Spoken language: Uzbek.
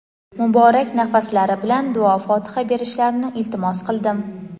muborak nafaslari bilan duo-fotiha berishlarini iltimos qildim.